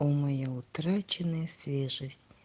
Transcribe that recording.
моя утраченная свежесть